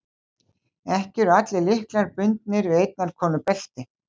Ekki eru allir lyklar bundnir við einnar konu belti.